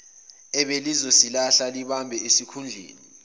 ebelizosihlala libambe isikhundleni